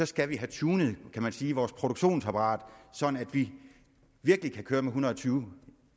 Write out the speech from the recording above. skal have tunet kan man sige vores produktionsapparat så vi virkelig kan køre en hundrede og tyve